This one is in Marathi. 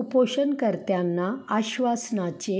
उपोषणकर्त्यांना आश्वासनाचे